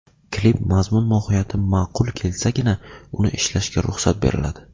Klip mazmun mohiyati ma’qul kelsagina uni ishlashga ruxsat beriladi.